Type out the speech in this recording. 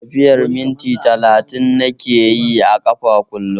Tafiyar minti talatin nake yi a ƙafa kullum